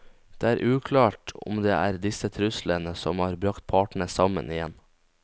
Det er uklart om det er disse truslene som har bragt partene sammen igjen.